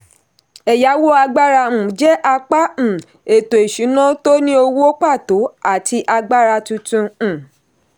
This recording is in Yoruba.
ẹ̀yàwó agbára um jẹ́ apá um ètò-ìṣúnà tó ní owó pàtó àti agbára tuntun. um